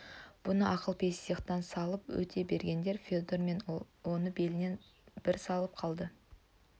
бұны ақылпейіс иықтан салып өте бергенде федор оны белінен бір салып қалды